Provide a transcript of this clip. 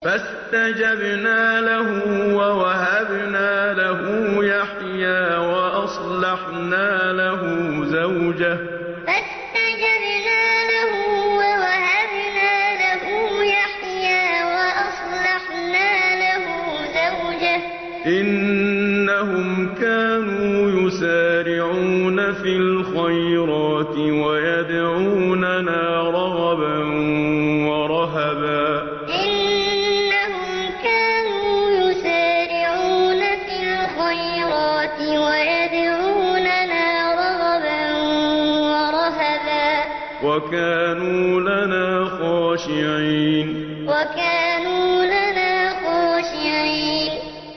فَاسْتَجَبْنَا لَهُ وَوَهَبْنَا لَهُ يَحْيَىٰ وَأَصْلَحْنَا لَهُ زَوْجَهُ ۚ إِنَّهُمْ كَانُوا يُسَارِعُونَ فِي الْخَيْرَاتِ وَيَدْعُونَنَا رَغَبًا وَرَهَبًا ۖ وَكَانُوا لَنَا خَاشِعِينَ فَاسْتَجَبْنَا لَهُ وَوَهَبْنَا لَهُ يَحْيَىٰ وَأَصْلَحْنَا لَهُ زَوْجَهُ ۚ إِنَّهُمْ كَانُوا يُسَارِعُونَ فِي الْخَيْرَاتِ وَيَدْعُونَنَا رَغَبًا وَرَهَبًا ۖ وَكَانُوا لَنَا خَاشِعِينَ